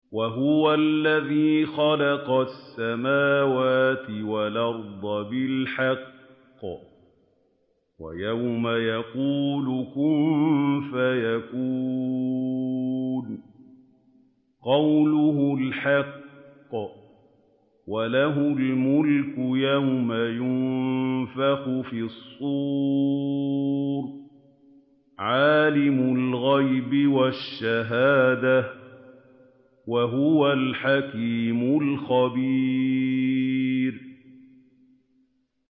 وَهُوَ الَّذِي خَلَقَ السَّمَاوَاتِ وَالْأَرْضَ بِالْحَقِّ ۖ وَيَوْمَ يَقُولُ كُن فَيَكُونُ ۚ قَوْلُهُ الْحَقُّ ۚ وَلَهُ الْمُلْكُ يَوْمَ يُنفَخُ فِي الصُّورِ ۚ عَالِمُ الْغَيْبِ وَالشَّهَادَةِ ۚ وَهُوَ الْحَكِيمُ الْخَبِيرُ